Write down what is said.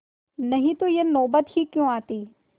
नहीं तो यह नौबत ही क्यों आती